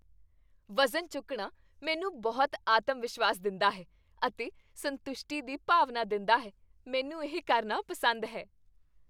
ਵਜ਼ਨ ਚੁੱਕਣਾ ਮੈਨੂੰ ਬਹੁਤ ਆਤਮਵਿਸ਼ਵਾਸ ਦਿੰਦਾ ਹੈ ਅਤੇ ਸੰਤੁਸ਼ਟੀ ਦੀ ਭਾਵਨਾ ਦਿੰਦਾ ਹੈ। ਮੈਨੂੰ ਇਹ ਕਰਨਾ ਪਸੰਦ ਹੈ।